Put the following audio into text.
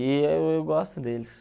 eu gosto deles.